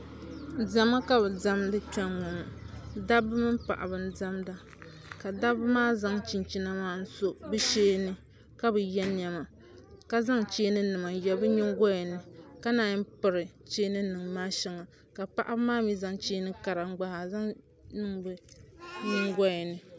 Diɛma ka bɛ diɛmdi kpe ŋɔ dabba mini paɣiba n-diɛmda ka dabba maa zaŋ chinchina maa n-so bɛ shee ni ka bi ye nɛma ka zaŋ cheeninima n-ye bɛ nyingoya ni ka naan yi piri cheeninima maa shɛŋa ka paɣiba maa mi zaŋ cheeni kara n-gba zaŋ niŋ bɛ nyingoya ni